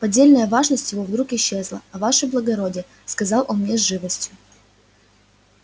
поддельная важность его вдруг исчезла а ваше благородие сказал он мне с живостью